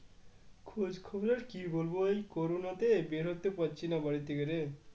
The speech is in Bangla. খোঁজখবর কি বলবো এই করোনাতে আর বেরোতে পারছিনা বাড়ি থেকে রে